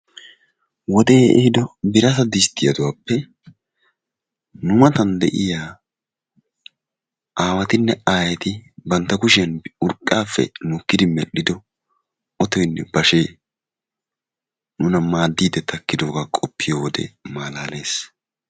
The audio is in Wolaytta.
Wodee ehiiddo birata disttiyaduwappe nu matan de'iya aawatinne aayeti bana kushiyan urqqaafe nukkidi medhdhiddo otoynne bashee nuna maadiidi takkiddooga qofiyo wode malaalees.